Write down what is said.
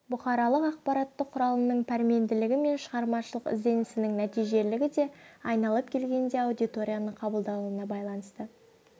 бұқаралық ақпарат құралының пәрменділігі мен шығармашылық ізденісінің нәтижелілігі де айналып келгенде аудиторияның қабылдауына байланысты